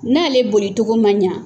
N'ale boli cogo man ɲa